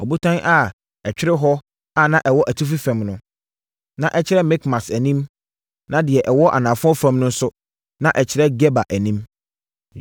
Ɔbotan a ɛtwere hɔ a na ɛwɔ atifi fam no, na ɛkyerɛ Mikmas anim, na deɛ ɛwɔ anafoɔ fam no nso, na ɛkyerɛ Geba anim.